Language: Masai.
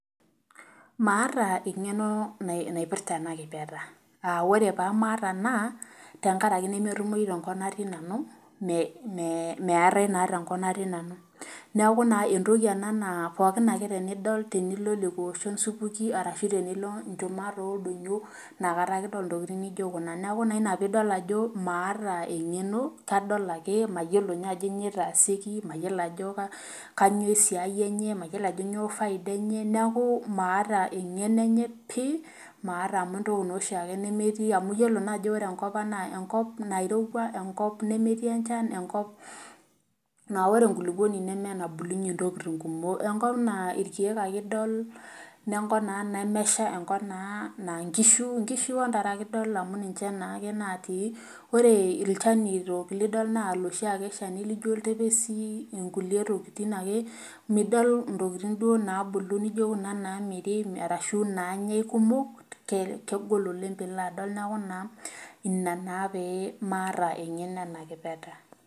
Maata engeno naipitra ena kipeta ,ore pee maata naa metumoyu tenkop natii nanu maatae naa tenkop natii nanu. neeku naa entoki ena naa ookin ake tenidol tenilo lekwa oshon supuki orashu tenilo inchman oldonyo inakata ake idol intokiting naijo kuna .neeku ina naa pee idol ajo maata engeno kadol ake mayiolo ajo kainyoo eitaasieki mayiolo ajo kainyoo esiai enye mayiolo ajo kainyoo faida enye neeku maata engeno enye pi ,maata amu entokiaoshiake nemetii amu iyiolo ajo ore enkopang enkop nairowua, enkop nemetii enchan, enkop naa ore enkulupuoni neme enabulunye ntokiting kumok ,enkop naa irkeek ake idol enkop naa nemesha enkop naa nkishu ontare ake idol amu ninche ake natii ,ore ilchanitook lidol naa loshiake laijo oltepesi onkulie tokiting ake .midol ntokiting naabulu naijo kuna naamiri orashu nanyae kumok kegol oleng pee ilo adol neeku naa ina pee maata engeno ena kipeta.